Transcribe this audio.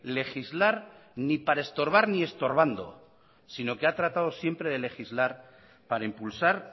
legislar ni para estorbar ni estorbando sino que ha tratado siempre de legislar para impulsar